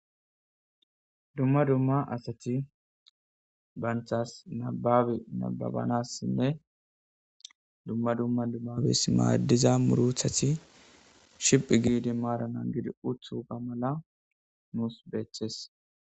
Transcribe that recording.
Dumma dumma asati bantasa nababe nababanasinne dumma dumma nibabes madiza murutati shiphi gidi mara nagidi utoga mala nusu betes